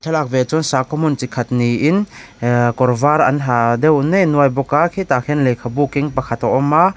thlalak ve chuan sakhaw hmun chi khat niin ahh kawr var an ha deuh nei nuai bawk a khitah khian lehkhabu keng pakhat a awm a.